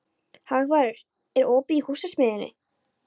Hagbarður, er opið í Húsasmiðjunni?